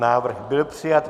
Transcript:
Návrh byl přijat.